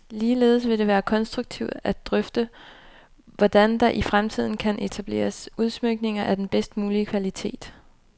Ligeledes vil det være konstruktivt at drøfte, hvordan der i fremtiden kan etableres udsmykninger af den bedst mulige kvalitet.